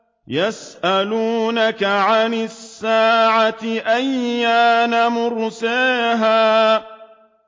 يَسْأَلُونَكَ عَنِ السَّاعَةِ أَيَّانَ مُرْسَاهَا